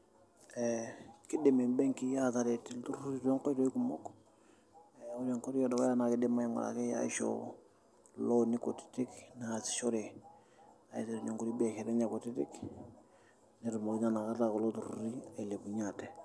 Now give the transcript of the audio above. Ee kiidim mbenkii aataret ilturruri tonkoitoi kumok ena enkoitooi edukuya kiidim naa aing'uraki aishoo looni kutitik naasishore aiterunyie inkuti biasharani enye kutitik netumoki naa inakata kulo turruri ailepunyie ate.